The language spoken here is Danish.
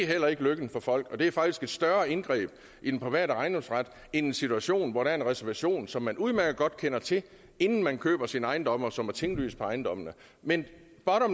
heller ikke lykken for folk og det er faktisk et større indgreb i den private ejendomsret end en situation hvor der er en reservation som man udmærket godt kender til inden man køber sin ejendom og som er tinglyst på ejendommen men